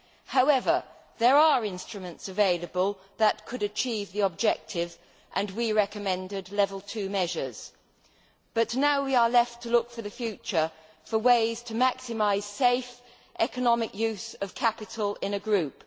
However, there are instruments available that could achieve the objective and we recommended Level 2 measures, but now we are left to look for the future for ways to maximise safe, economic use of capital in a group.